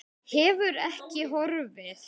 Hefur ekki horfið.